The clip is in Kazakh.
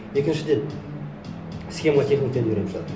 екіншіден схемотехниканы үйреніп шығады